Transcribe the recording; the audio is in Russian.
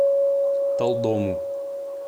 талдому